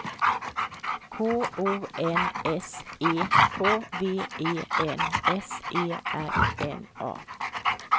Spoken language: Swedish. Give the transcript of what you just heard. K O N S E K V E N S E R N A